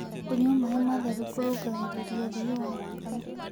Kũyũa mae matherũ kũrũngagĩrĩrĩa ũthĩĩ wa thakame